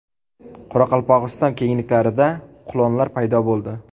Qoraqalpog‘iston kengliklarida qulonlar paydo bo‘ldi .